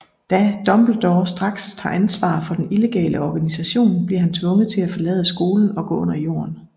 Da Dumbledore straks tager ansvar for den illegale organisation bliver han tvunget til at forlade skolen og gå under jorden